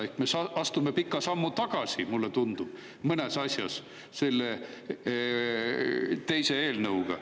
Me astume mõnes asjas pika sammu tagasi, mulle tundub, selle teise eelnõuga.